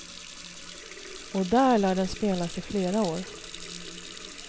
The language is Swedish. Och där lär den spelas i flera år.